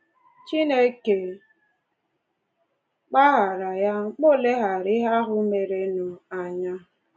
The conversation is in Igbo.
Chineke gbaghaara ya, ma ò leghaara ihe ahụ merenụ anya